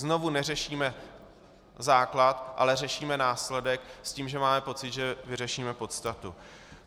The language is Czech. Znovu neřešíme základ, ale řešíme následek s tím, že máme pocit, že vyřešíme podstatu.